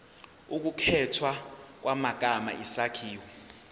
ukukhethwa kwamagama isakhiwo